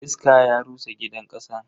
Iska ya rusa gidan kasan.